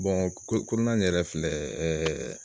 ko kɔnɔna in yɛrɛ filɛ ɛɛ